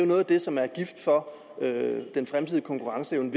noget af det som er gift for den fremtidige konkurrenceevne